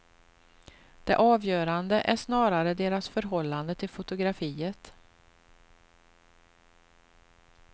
Det avgörande är snarare deras förhållande till fotografiet.